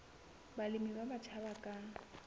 balemi ba batjha ba ka